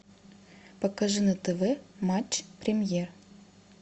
покажи на тв матч премьер